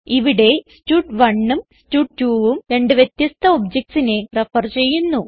ഇവിടെ stud1ഉം stud2ഉം രണ്ട് വ്യത്യസ്ഥ objectsനെ റെഫർ ചെയ്യുന്നു